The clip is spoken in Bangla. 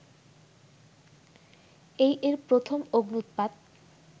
এই এর প্রথম অগ্ন্যুৎপাত